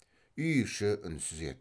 үй іші үнсіз еді